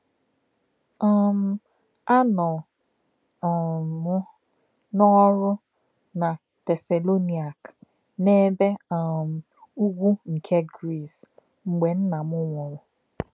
um Ànọ um m n’ọ́rụ́ na Tesalonaịka, n’ebe um Ụ́gwù nke Gris, mgbe nna m nwụrụ.